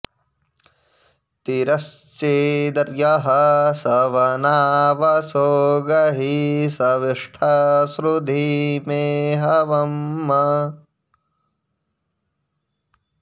ति॒रश्चि॑द॒र्यः सव॒ना व॑सो गहि॒ शवि॑ष्ठ श्रु॒धि मे॒ हव॑म्